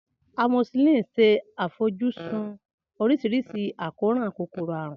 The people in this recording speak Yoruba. Amoxicillin ṣe àfojúsùn oríṣiríṣi àkóràn kòkòrò àrùn.